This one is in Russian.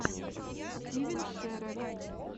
стивен шерер